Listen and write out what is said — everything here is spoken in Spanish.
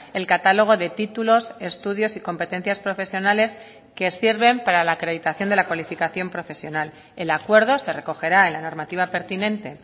el catálogo de títulos estudios y competencias profesionales que sirven para la acreditación de la cualificación profesional el acuerdo se recogerá en la normativa pertinente